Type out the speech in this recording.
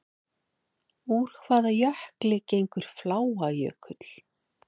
Úr hvaða jökli gengur Fláajökull?